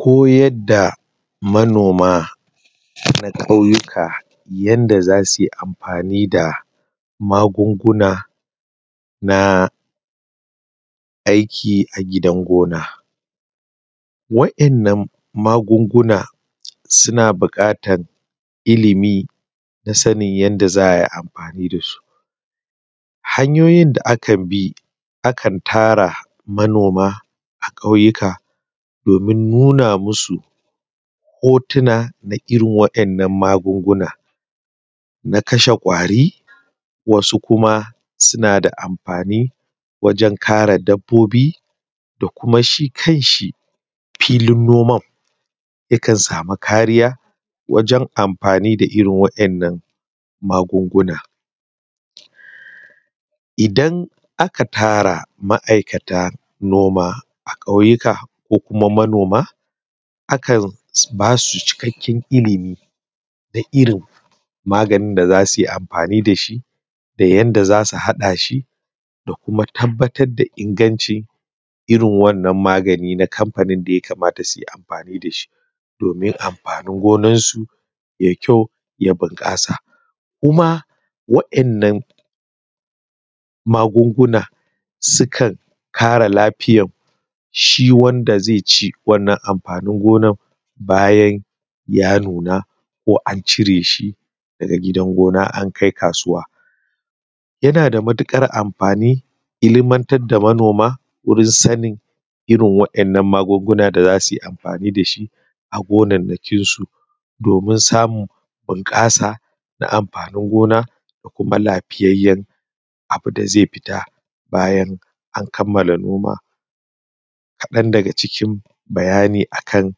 Koyar da manoma na ƙauyuka yadda za su yi amfani da magunguna na aiki a gidan gona, waɗannan magunguna suna bukatar ilimi da sanin yadda za a yi amfani da su. Hanyoyin da akn bi akan ƙara manoma a kauyuka a nuna musu hotuna na iron waɗannan magungunan na kashe kawari wsu kuma suna da amfani wajen kare dabbobi da kuma shi kan shi filin naoma yakan sama kariya na amfani da irin waɗannan magungunan, isan aka tara ma'aikata noma a kauyuka ko kuma manoma akan ba su cikaken ilimi na irin amafanin da za su yi da shi da yadda za su hada shi da kuma tabbatar da ingancin iron wannan magani na kamfanin da ya kamata su yi amfani da shi domin amfanin gonarsu ya yi ƙyau ya bunƙasa. Kuma waɗannan yan magungunan sukan ƙara lafiyar shi wanda zai ci wannan amfanin gonan bayan ya nuna ko an cire shi daga gidan gona an kai kasuwa yana da matuƙar amfani ilimatar da manoma wurin sani irin wannan magunguna da za su yi amfani da shi a gonar nakinsu domin samun bunƙasa na amfanin gona da kuma lafiyayyen abu da zai fita bayan an kammala noma. Kadan daga cikin bayani a kan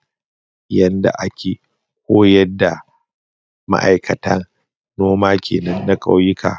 yadda ake koyar da ma'aikatan noma kenan na ƙauyuka.